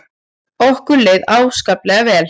Okkur leið ákaflega vel.